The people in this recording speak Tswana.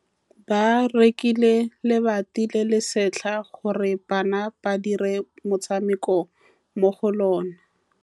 Ba rekile lebati le le setlha gore bana ba dire motshameko mo go lona.